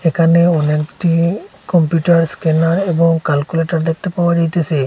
এখানে অনেকটি computer scanner এবং ক্যালকুলেটর দেখতে পাওয়া যাইতেসে।